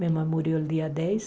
Minha mãe morreu no dia dez.